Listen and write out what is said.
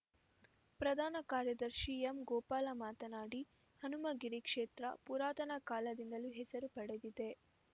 ಪ್ರಧಾನ ಕಾರ್ಯದರ್ಶಿ ಎಂಗೋಪಾಲ್ ಮಾತನಾಡಿ ಹನುಮಗಿರಿ ಕ್ಷೇತ್ರ ಪುರಾತನ ಕಾಲದಿಂದಲೂ ಹೆಸರು ಪಡೆದಿದೆ